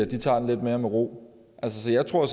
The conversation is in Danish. tager den lidt mere med ro så jeg tror